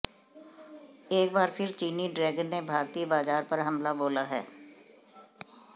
एक बार फिर चीनी ड्रैगन ने भारतीय बाजार पर हमला बोला है